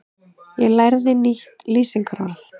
Í gær lærði ég nýtt lýsingarorð.